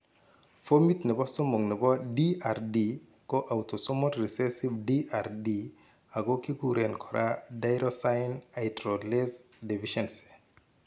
Fomit nebo somok nebo DRD ko autosomol recessive DRD ago kiguren kora tyrosine hydroxylase deficiency